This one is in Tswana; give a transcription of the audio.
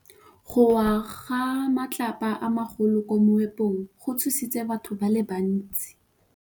Go wa ga matlapa a magolo ko moepong go tshositse batho ba le bantsi.